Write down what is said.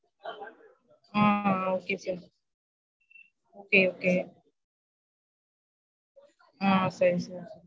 ஆஹ் okay sir okay okay ah சரி